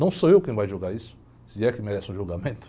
Não sou eu quem vai julgar isso, se é que merece um julgamento.